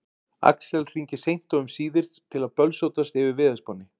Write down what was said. Axel hringir seint og um síðir til að bölsótast yfir veðurspánni.